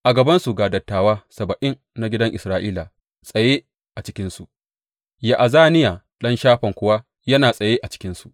A gabansu ga dattawa saba’in na gidan Isra’ila tsaye a cikinsu, Ya’azaniya ɗan Shafan kuwa yana tsaye a cikinsu.